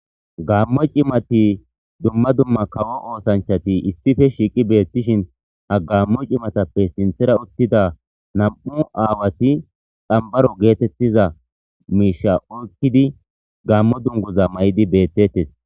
gammo cimati dumma dumma kawo oosanchati issife shiiqi beettishin ha gmo cimatappe sinthera uttida nam'u aawati xamibaro geetettiza miisha oyikkidi gamo duniguza mayidi bettees